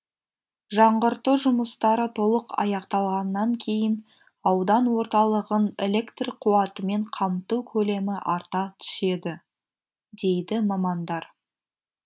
жаңғырту жұмыстары толық аяқталғаннан кейін аудан орталығын электр қуатымен қамту көлемі арта түседі дейді мамандар